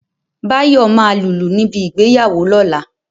Báyọ̀ máa lùlù níbi ìgbéyàwó lọ́la